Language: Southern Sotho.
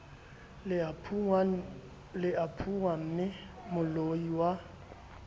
le a phunngwamme moloio a